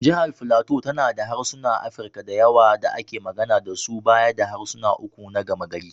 Jihar Filato tana da harsunan Afirka da yawa da ake magana da su baya da harsuna uku na gama-gari.